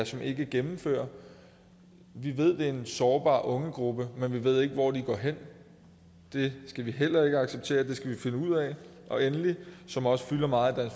som ikke gennemfører vi ved det er en sårbar ungegruppe men vi ved ikke hvor de går hen det skal vi heller ikke acceptere så det skal vi finde ud af endelig som også fylder meget i